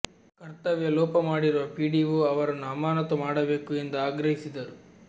ಕರ್ತವ್ಯ ಲೋಪ ಮಾಡಿರುವ ಪಿಡಿಓ ಅವರನ್ನು ಅಮಾನತು ಮಾಡಬೇಕು ಎಂದು ಆಗ್ರಹಿಸಿದರು